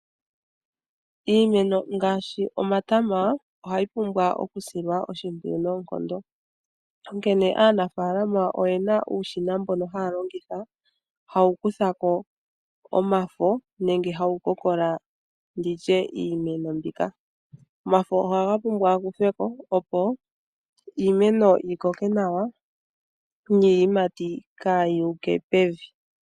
Iimeno ngaashi omatama ohayi pumbwa okusilwa oshimpwiyu noonkondo. Onkene aanafalama oyena uushina mbono haya longitha hawu kutha ko omafo nenge hawu kokola nditye iimeno mbika. Omafo ohaga pumbwa ga kuthwe ko opo iimeno yi koke nawa niiyimati kaa yi uke pevi.